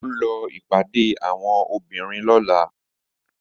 Mò ń lọ ìpàdé àwọn obìnrin lọ́la